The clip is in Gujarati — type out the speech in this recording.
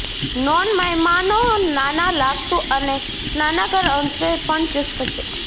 નોન મહેમાનો નાના લાગતું અને સ્નાનાગર અંશે પણ ચુસ્ત છે